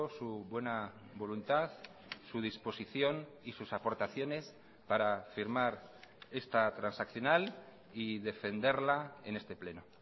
su buena voluntad su disposición y sus aportaciones para firmar esta transaccional y defenderla en este pleno